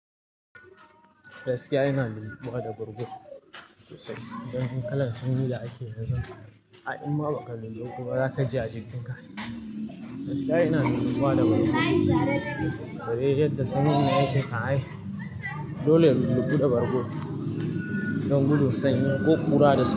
Gaskiya ina lulluɓuwa da bargo don kalan sanyi da ake yanzu. Ai in ma ba ka lulluɓu ba, za ka ji a jikinka. Gaskiya ina lulluɓuwa da bargo, bare yadda sanyin nan yake kam ai. Dole in lulluɓu da bargo don gudun sanyi ko ƙura da sanyi.